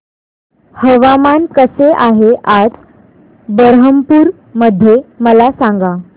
हवामान कसे आहे आज बरहमपुर मध्ये मला सांगा